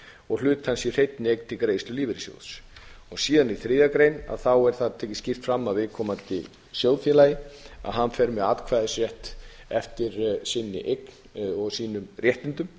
og hlut hans í hreinni eign til greiðslu lífeyris síðan er í þriðju grein tekið skýrt fram að viðkomandi sjóðfélagi fer með atkvæðisrétt eftir sinni eign og sínum réttindum